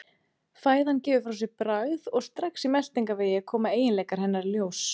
Fæðan gefur frá sér bragð og strax í meltingarvegi koma eiginleikar hennar í ljós.